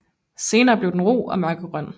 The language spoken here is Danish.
Senere bliver den ru og mørkegrøn